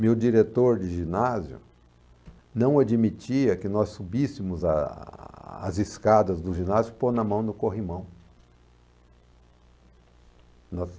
Meu diretor de ginásio não admitia que nós subíssemos aas escadas do ginásio pôndo a mão no corrimão. Nós